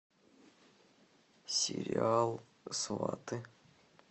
сериал сваты